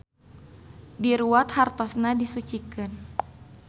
Diruwat hartosna disucikeun.